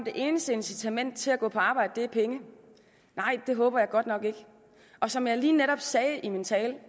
det eneste incitament til at gå på arbejde er penge nej det håber jeg godt nok ikke og som jeg lige netop sagde i min tale